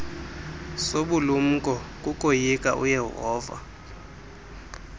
sobulumko kukoyika uyehova